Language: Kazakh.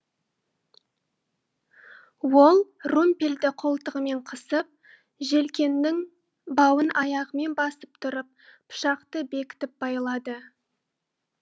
ол румпельді қолтығымен қысып желкеннің бауын аяғымен басып тұрып пышақты бекітіп байлады